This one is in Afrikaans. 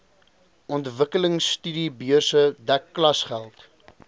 ontwikkelingstudiebeurse dek klasgeld